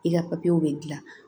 I ka bɛ dilan